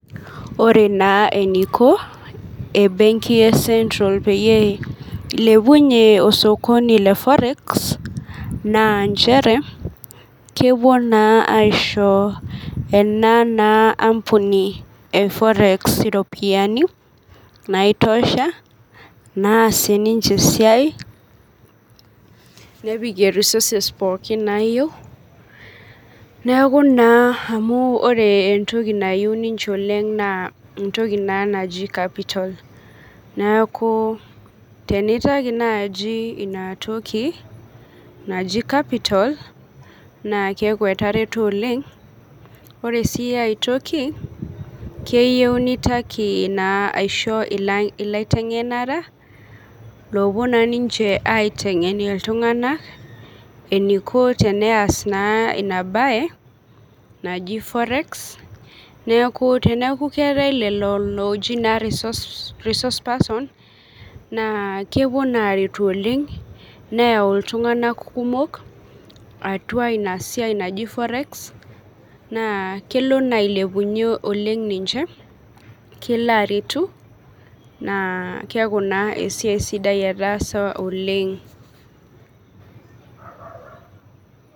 Ore na eninko embenki e central peyie ilepunye osokoni le forex na nchere kepuo na aisho enaa naa ampuni eforex iropiyiani naitosha naasie ninche esiai nepikie resources pookin nayieu neaku naa amu ore entoki nayieu ninche oleng na entoki naji capital neaku tenintakj nai inatoki naji capital neaku etareto oleng ore si aitoki keyieu nintaki aishoo laitengenak lopuo naa ninche aitengen ltunganak eniko peas inabaenaji forex neaku teneaku keetae lolo oji resource person na kepuo na aretu oleng neyau ltunganak kumok atua inasiai naji forex na kelo na ailepunye ninche oleng na kelo aretu na keaku naa esiai sidai etaasa oleng.